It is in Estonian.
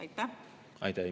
Aitäh!